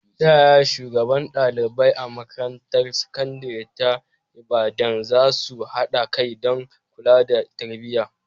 Ta yaya shugabannin ɗalibai a makarantar sakandare ta Ibadan za su haɗa kai don kula da tarbiyya.